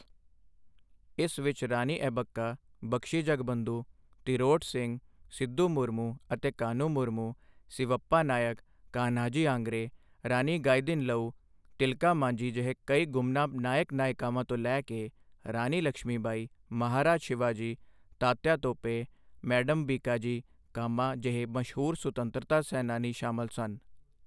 ਇਸ ਵਿੱਚ ਰਾਨੀ ਅੱਬੱਕਾ, ਬਖਸ਼ੀ ਜਗਬੰਧੁ, ਤਿਰੋਟ ਸਿੰਗ, ਸਿਧੂ ਮੁਰਮੁ ਅਤੇ ਕਾਂਨ੍ਹੂ ਮੁਰਮੁ, ਸਿਵੱਪਾ ਨਾਇਕ, ਕਾਨ੍ਹਾਜੀ ਆਂਗ੍ਰੇ, ਰਾਨੀ ਗਾਈਦਿਨਲਊ, ਤਿਲਕਾ ਮਾਂਝੀ ਜਿਹੇ ਕਈ ਗੁਮਨਾਮ ਨਾਇਕ ਨਾਇਕਾਵਾਂ ਤੋਂ ਲੈ ਕੇ ਰਾਨੀ ਲਕਸ਼ਮੀਬਾਈ, ਮਹਾਰਾਜ ਸ਼ਿਵਾਜੀ, ਤਾਤਯਾ ਟੋਪੇ, ਮੈਡਮ ਭੀਕਾਜੀ ਕਾਮਾ ਜਿਹੇ ਮਸ਼ਹੂਰ ਸੁਤੰਤਰਤਾ ਸੈਨਾਨੀ ਸ਼ਾਮਲ ਹਨ।